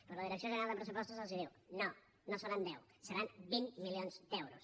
però la direcció general de pressupostos els diu no no en seran deu seran vint milions d’euros